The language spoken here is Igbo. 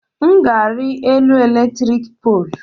M ga-ari elu eletrik poolu